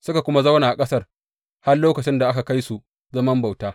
Suka zauna a ƙasar har lokacin da aka kai su zaman bauta.